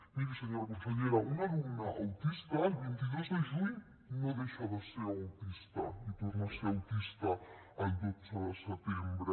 miri senyora consellera un alumne autista el vint dos de juny no deixa de ser autista i torna a ser autista el dotze de setembre